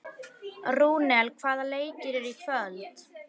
Rúnel, hvaða leikir eru í kvöld?